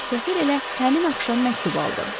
Səfir elə həmin axşam məktub aldı.